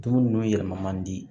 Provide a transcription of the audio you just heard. Dumuni nunnu yɛlɛma man di